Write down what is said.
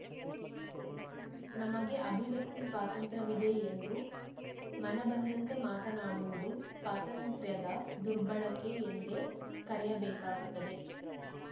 ನಮಗೆ ಅಭಿವ್ಯಕ್ತಿ ಸ್ವಾತಂತ್ರ್ಯ ವಿದೆ ಎಂದು ಮನಬಂದಂತೆ ಮಾತನಾಡುವುದು ಸ್ವಾತಂತ್ರ್ಯದ ದುರ್ಬಳಕೆ ಎಂದೇ ಕೆರೆಯಬೇಕಾಗುತ್ತದೆ